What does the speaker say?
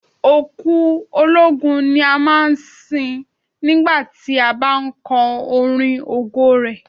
Òkú ológun ni a máa ń sin nígbà tí a bá ń kọrin ògo rẹ̀.